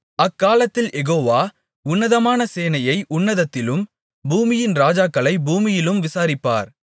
அக்காலத்தில் யெகோவா உன்னதமான சேனையை உன்னதத்திலும் பூமியின் ராஜாக்களைப் பூமியிலும் விசாரிப்பார்